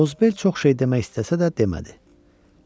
Qozbel çox şey demək istəsə də, demədi.